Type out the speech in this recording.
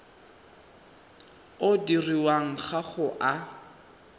o dirwang ga o a